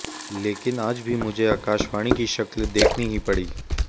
लेकिन आज भी मुझे आकाशवाणी की शक्ल देखनी ही पड़ी